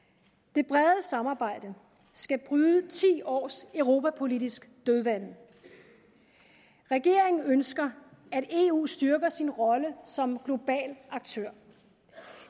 det brede samarbejde skal bryde ti års europapolitisk dødvande regeringen ønsker at eu styrker sin rolle som global aktør